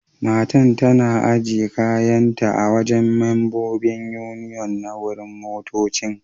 Matan tana ajiye kayan ta a'wajen membobin Union na wurin motoccin.